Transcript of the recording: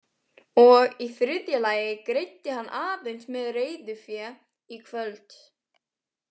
Og í þriðja lagi greiddi hann aðeins með reiðufé í kvöld.